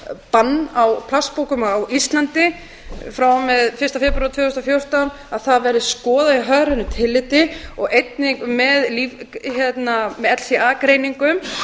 bann á plastpokum á íslandi frá og með fyrsta febrúar tvö þúsund og fjórtán að það verði skoðað í hagrænu tilliti og einnig með alla greiningum